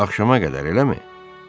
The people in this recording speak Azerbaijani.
Axşama qədər, eləmi?